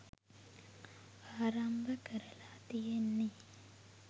ආරම්භ කරලා තියෙන්නේ